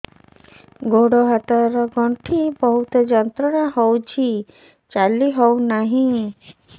ଗୋଡ଼ ହାତ ର ଗଣ୍ଠି ବହୁତ ଯନ୍ତ୍ରଣା ହଉଛି ଚାଲି ହଉନାହିଁ